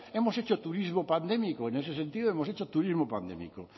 hemos hecho turismo pandémico en ese sentido hemos hecho turismo pandémico